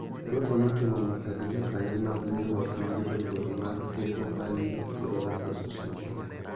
Ruto notimo mbaka gi jokanyo mag riwruok mar jopur mar Purko Barley Growers Association